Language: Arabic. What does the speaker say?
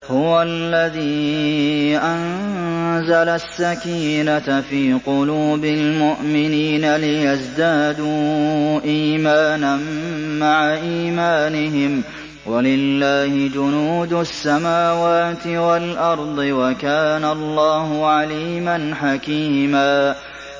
هُوَ الَّذِي أَنزَلَ السَّكِينَةَ فِي قُلُوبِ الْمُؤْمِنِينَ لِيَزْدَادُوا إِيمَانًا مَّعَ إِيمَانِهِمْ ۗ وَلِلَّهِ جُنُودُ السَّمَاوَاتِ وَالْأَرْضِ ۚ وَكَانَ اللَّهُ عَلِيمًا حَكِيمًا